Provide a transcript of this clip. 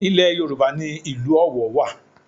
Ilẹ̀ Yorùbá ni ìlú Ọ̀wọ̀ wà